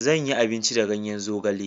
Zanyi abinci da ganyen zogale.